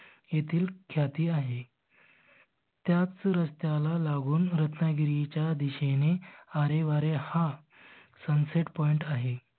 Ethyl ख्याति आहे. त्याच रस्त्याला लागून रत्नागिरीच्या दिशेने अरे वारे हा sunset point आहे.